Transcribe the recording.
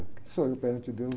O que sou eu perante deus?